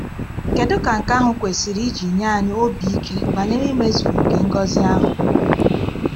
Kedu ka nke ahụ kwesịrị isi nye anyị obi ike banyere mmezu nke ngọzi ahụ!